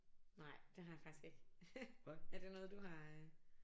Nej det har jeg faktisk ikke er det noget du har øh